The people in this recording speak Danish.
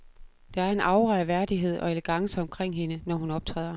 Der er en aura af værdighed og elegance omkring hende, når hun optræder.